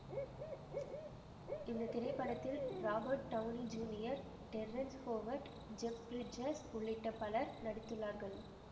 இந்த திரைப்படத்தில் Robert Downey Junior Terrence Howard Jeff Bridges உள்ளிட்ட பலர் நடித்துள்ளார்கள்